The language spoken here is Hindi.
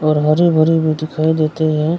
और हरे भरे भी दिखाई देते हैं --